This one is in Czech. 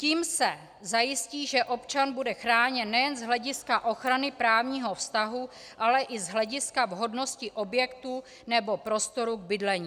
Tím se zajistí, že občan bude chráněn nejen z hlediska ochrany právního vztahu, ale i z hlediska vhodnosti objektu nebo prostoru k bydlení.